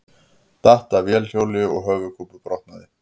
Datt af vélhjóli og höfuðkúpubrotnaði